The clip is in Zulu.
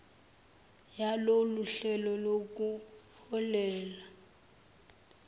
yalolu hlelo nokuholele